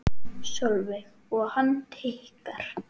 Sólveig: Og hann tikkar?